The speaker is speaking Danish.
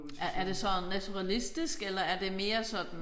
Er er det sådan naturalistisk eller er det mere sådan